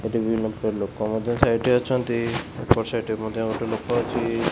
ଏଠି ବିଭିନ୍ନ ପ୍ରକାର ଲୋକ ମଧ୍ୟ ସାଇଟ୍ ରେ ଅଛନ୍ତି ଏପଟ ସାଇଡ ରେ ମଧ୍ୟ ଗୋଟେ ଲୋକ ଅଛି।